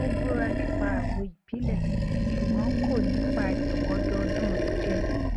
ó búra nípa àgbo ìbílẹ ṣùgbọn kò ní pa àyẹwò ọdọọdún rẹ jẹ